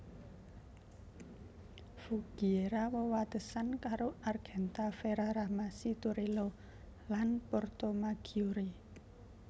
Voghiera wewatesan karo Argenta Ferrara Masi Torello lan Portomaggiore